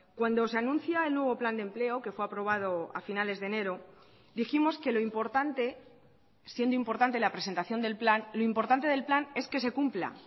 cuando se anuncia el nuevo plan de empleo que fue aprobado a finales de enero dijimos que lo importante siendo importante la presentación del plan lo importante del plan es que se cumpla